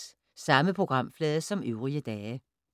Samme programflade som øvrige dage